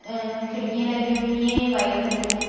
अ खिड़कियां लगी हुई है वाइट कलर की--